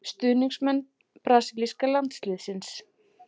Stuðningsmenn brasilíska landsliðsins.